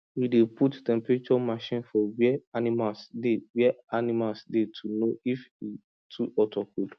we dey put temperature machine for where animals dey where animals dey to know if e too hot or cold